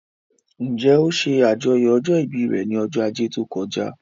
Njẹ́ ó ṣe àjọyọ̀ ọjọ́ ìbí rẹ̀ ní ọjọ́ ajé tó kọjá?